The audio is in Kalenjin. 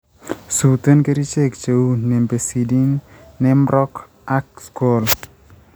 suuten kerichek cheu Nimbecidine, Neemroc 0.03% ak School 0.15%